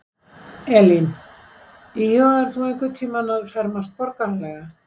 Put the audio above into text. Elín: Íhugaðir þú einhvern tímann að fermast borgaralega?